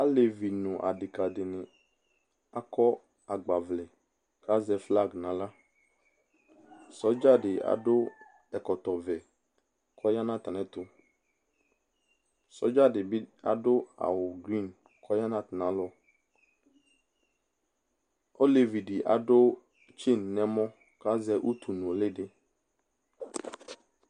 Alevi no adeka de ne akɔ agbavlɛ ka zɛ flag nahlaSɔdza de ado ɛlkɔɔvɛ ko ya na atane ɛto Sɔdza be de ado awu grin ko ya no atane alɔOlevi de ado dzen nɛmɔ kazɛ utu nole de